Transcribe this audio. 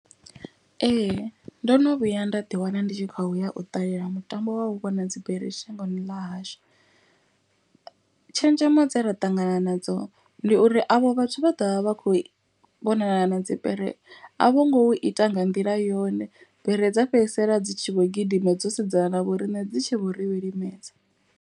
Ee ndo no vhuya nda ḓi wana ndi tshi khoya u ṱalela mutambo wa u vhona dzibere shangoni ḽa hashu. Tshenzhemo dze ra ṱangana nadzo ndi uri avho vhathu vha ḓovha vha kho vhonana na dzi bere. A vho ngo u ita nga nḓila yone bere dza fhedzisela dzi tshi vho gidima dzo sedzana na vhoriṋe dzi tshi vho ri vhilimedza.